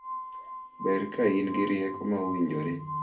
Ber ka in gi rieko ma owinjore.